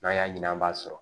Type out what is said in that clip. N'an y'a ɲini an b'a sɔrɔ